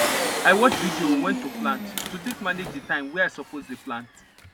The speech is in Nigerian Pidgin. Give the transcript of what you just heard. i watch video on when to plant to take manage the time wey i suppose dey plant